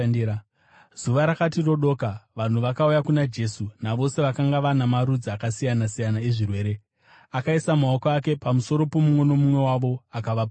Zuva rakati rodoka, vanhu vakauya kuna Jesu navose vakanga vana marudzi akasiyana-siyana ezvirwere, akaisa maoko ake pamusoro pomumwe nomumwe wavo akavaporesa.